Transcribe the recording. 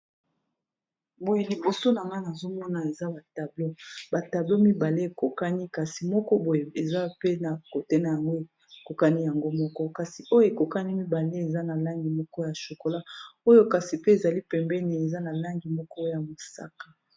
Boye liboso na nga nazomona eza ba tableau mibale ekokani kasi moko boye eza pe na côté na yango ekokani yango mibale eza na langi moko ya shokola oyo kasi pe ezali pembeni eza na langi moko ya mosaka.